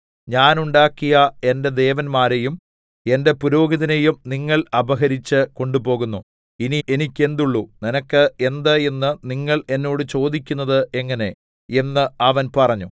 ഞാൻ ഉണ്ടാക്കിയ എന്റെ ദേവന്മാരെയും എന്റെ പുരോഹിതനെയും നിങ്ങൾ അപഹരിച്ച് കൊണ്ടുപോകുന്നു ഇനി എനിക്ക് എന്തുള്ളു നിനക്ക് എന്ത് എന്ന് നിങ്ങൾ എന്നോട് ചോദിക്കുന്നത് എങ്ങനെ എന്ന് അവൻ പറഞ്ഞു